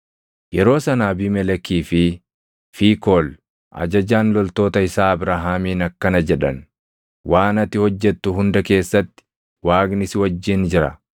Yeroo sana Abiimelekii fi Fiikool ajajaan loltoota isaa Abrahaamiin akkana jedhan; “Waan ati hojjettu hunda keessatti Waaqni si wajjin jira.